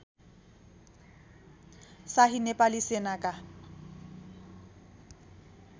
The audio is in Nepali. शाही नेपाली सेनाका